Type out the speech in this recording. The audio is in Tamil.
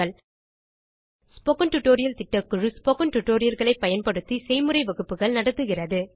ஸ்போக்கன் டியூட்டோரியல் திட்டக்குழு ஸ்போக்கன் டியூட்டோரியல் களை பயன்படுத்தி செய்முறை வகுப்புகள் நடத்துகிறது